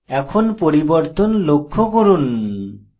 এখন পরিবর্তন লক্ষ্য করুন